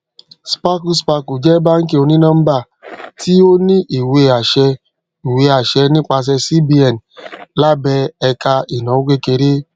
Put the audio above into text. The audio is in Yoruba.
cs] sparkle sparkle jẹ báàǹkì onínọmbà tí ó ní ìwé àṣẹ ìwé àṣẹ nípasẹ cbn lábẹ ẹka ìnáwó kékeré